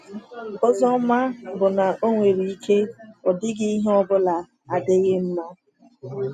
Ozi ọma bụ na o nwere ike ọ dịghị ihe ọ bụla adịghị mma.